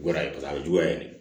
Juguya ye paseke a bɛ juguya ye dɛ